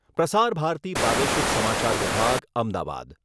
પ્રસાર ભારતી પ્રાદેશિક સમાચાર વિભાગ, અમદાવાદ